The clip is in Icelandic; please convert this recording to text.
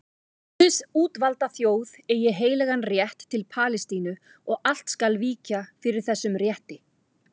Guðs útvalda þjóð eigi heilagan rétt til Palestínu og allt skal víkja fyrir þessum rétti.